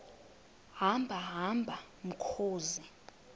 hamba hamba mkhozi